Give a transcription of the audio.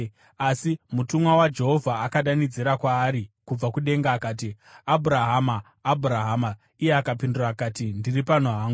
Asi mutumwa waJehovha akadanidzira kwaari kubva kudenga akati, “Abhurahama! Abhurahama!” Iye akapindura akati, “Ndiri pano hangu.”